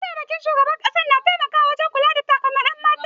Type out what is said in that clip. Mataimakin shugaban makaranta na taimakawa wajen kula da al'amuran makaranta